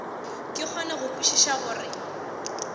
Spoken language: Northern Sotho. ke kgone go kwešiša gore